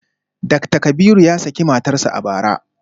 Dakta Kabiru ya saki matarsa ​​a bara